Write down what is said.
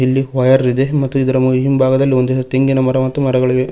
ಇಲ್ಲಿ ವಯರ್ ಇದೆ ಮತ್ತು ಇದರ ಹಿಂಭಾಗದಲ್ಲಿ ತೆಂಗಿನ ಮರ ಮತ್ತು ಮರಗಳಿವೆ.